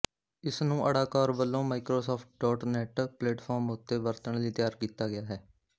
ਇਸਨੂੰ Ada Core ਵੱਲੋਂ Microsoft dot net platform ਉੱਤੇ ਵਰਤਣ ਲਈ ਤਿਆਰ ਕੀਤਾ ਗਿਆ ਹੈ